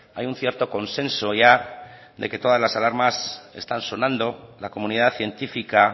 hay un cierto consenso ya de que todas las alarmas están sonando la comunidad científica